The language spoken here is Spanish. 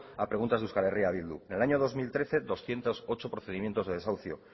a preguntas de euskal herria bildu en el año dos mil trece doscientos ocho procedimientos de desahucio